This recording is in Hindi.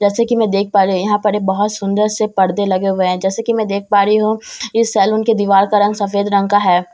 जैसे कि मैं देख पा रही हु यहां पर ये बहोत सुंदर से पर्दे लगे हुए है जैसे कि मैं देख पा रही हूं इस सैलून के दीवाल का रंग सफेद रंग का है।